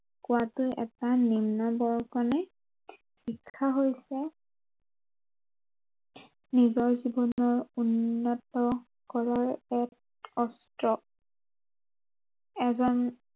কোৱাতো এটা নিম্নবৰ্গনে শিক্ষা হৈছে নিজৰ জীৱনৰ উন্নত কৰাৰ এক অস্ত্ৰ এজন